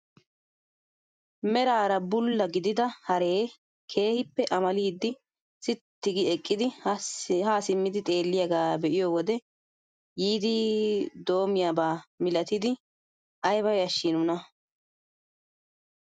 Meraara bulla gidida haree keehippe amalidi sitti gi eqqidi haa simmidi xeelliyaagaa be'iyoo wode yiidi dom"iyaaba milatidi ayba yashshii nuna!